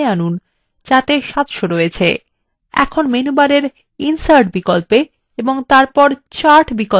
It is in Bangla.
এখন মেনুবারে insert বিকল্পে click করুন এবং তারপর chart বিকল্পে click করুন